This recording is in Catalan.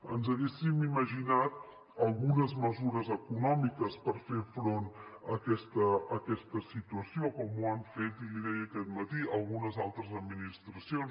ens haguéssim imaginat algunes mesures econòmiques per fer front a aquesta situació com ho han fet i l’hi deia aquest matí algunes altres administracions